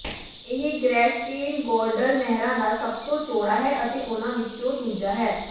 ਇਹ ਗ੍ਰੈਚਟੇਨਗੋਰਡਲ ਨਹਿਰਾਂ ਦਾ ਸਭ ਤੋਂ ਚੌੜਾ ਹੈ ਅਤੇ ਉਨ੍ਹਾਂ ਵਿੱਚੋਂ ਦੂਜਾ ਹੈ